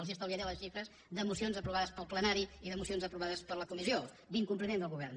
els estalviaré les xifres de mocions aprovades pel plenari i de mocions aprovades per la comissió d’incompliment del govern